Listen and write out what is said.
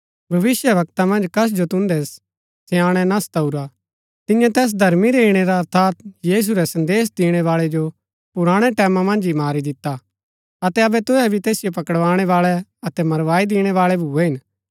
भविष्‍यवक्ता मन्ज कस जो तुन्दै स्याणै ना सताऊरा तिन्ये तैस धर्मी रै ईणै रा अर्थात यीशु रै संदेश दिणैबाळै जो पुराणै टैमां मन्ज ही मारी दिता अतै अबै तुहै भी तैसिओ पकड़ाणैवाळै अतै मरवाई दिणैबाळै भूए हिन